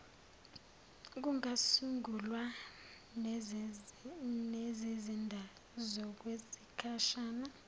kungasungulwa nezizinda zokwesikhashana